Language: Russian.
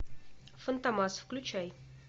фантомас включай